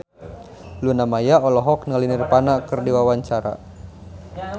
Luna Maya olohok ningali Nirvana keur diwawancara